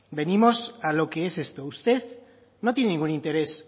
venimos a lo que es esto usted no tiene ningún interés